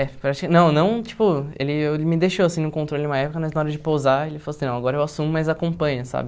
É, prati não, não, tipo, ele eu me deixou, assim, no controle uma época, mas na hora de pousar, ele falou assim, não, agora eu assumo, mas acompanha, sabe?